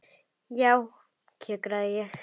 Já, kjökra ég.